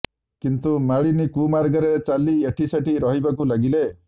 କିନ୍ତୁ ମାଳିନୀ କୁମାର୍ଗରେ ଚାଲି ଏଠି ସେଠି ରହିବାକୁ ଲାଗିଲେ